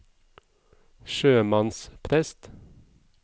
sjømannsprest